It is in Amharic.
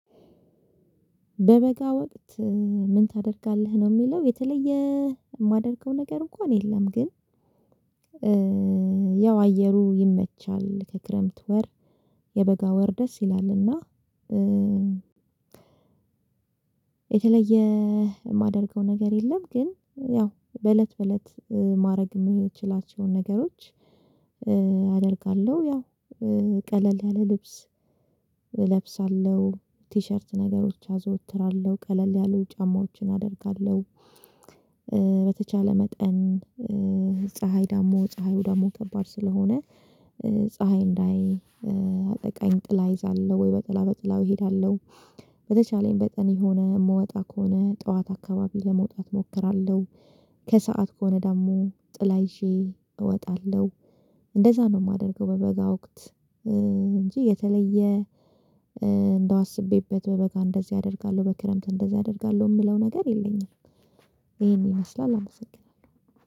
በበጋ ወቅት ምን ታደርጋለህ ነው የሚለው? የተለየ የማደርገው ነገር እንኳን የለም። ግን ያው አየሩ ይመቻል ከክረምት ወር የበጋ ወር ደስ ይላል። እና የተለየ የማደርገው ነገር የለም። ግን ያው በእለት በእለት ማድረግ የምችላቸውን ነገሮች አደርጋለሁ ያው ቀለል ያለ ልብስ እለብሳለሁ ቲሸርት ነገሮች አዘወትራለሁ ቀለል ያሉ ጫማዎችን አደርጋለሁ። በተቻለ መጠን ፀለይ ደሞ ፀሀዩ ደሞ ከባድ ስለሆነ ፀሀይ እንዳይ አጠቃኝ ጥላ ይዛለሁ ወይ በጥላ በጥላው እሄዳለሁ። በተቻለኝ በጠን የሆነ የምወጣ ከሆነ ጠዋት አካባቢ ለመውጣት እሞክራለሁ ከሰአት ከሆነ ደግሞ ጥላ ይዤ እወጣለሁ። እንደዛ ነው የማደርገው በበጋ ወቅት እንጂ የተለየ እንደው አስቤበት በበጋ እንደዚህ አደርጋለሁ በክረምት እንደዚህ አደርጋለሁ የምለው ነገር የለኝም። ይሄን ይመስላል አመሰግናለሁ